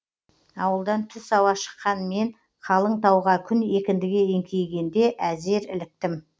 ауылдан түс ауа шыққан мен қалың тауға күн екіндіге еңкейе әзер іліктім